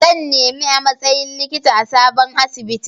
Zan nemi a matsayin likita a sabon asibiti.